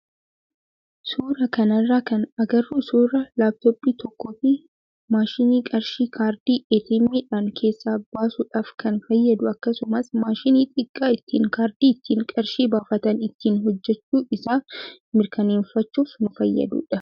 Suuraa kanarraa kan agarru suuraa laappitooppii tokkoo fi maashinii qarshii kaardii "ATM" dhaan keessaa baasuudhaaf kan fayyadu akkasumas maashina xiqqaa ittiin kaardii ittiin qarshii baafatan ittiin hojjachuu isaa mirkaneeffachuuf nu fayyadudha.